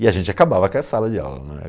E a gente acabava com a sala de aula, não é.